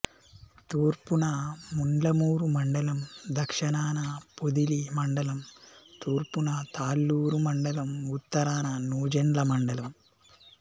తూర్పున ముండ్లమూరు మండలం దక్షణాన పొదిలి మండలం తూర్పున తాళ్ళూరు మండలం ఉత్తరాన నూజెండ్ల మండలం